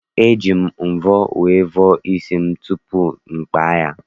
E ji m mvọ wee vọọ isi m tupu m kpaa ya.